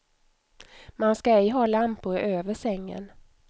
Man ska ej ha lampor över sängen.